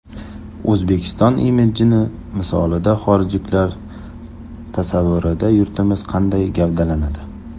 O‘zbekiston imidjini misolida xorijliklar tasavvurida yurtimiz qanday gavdalanadi?